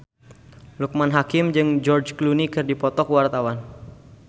Loekman Hakim jeung George Clooney keur dipoto ku wartawan